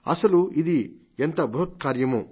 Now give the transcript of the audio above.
అశలు ఇది ఎంత బృహత్కార్యమో